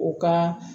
U ka